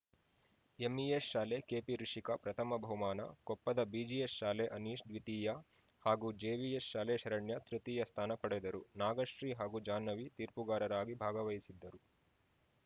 MES ಶಾಲೆ KP Rishika ಪ್ರಥಮ ಬಹುಮಾನ ಕೊಪ್ಪದ ಬಿಜಿಎಸ್‌ ಶಾಲೆ ಅನೀಷ್‌ ದ್ವಿತೀಯ ಹಾಗೂ ಜೆವಿಎಸ್‌ ಶಾಲೆ ಶರಣ್ಯ ತೃತೀಯ ಸ್ಥಾನ ಪಡೆದರು ನಾಗಶ್ರೀ ಹಾಗೂ ಜಾಹ್ನವಿ ತೀರ್ಪುಗಾರರಾಗಿ ಭಾಗವಹಿಸಿದ್ದರು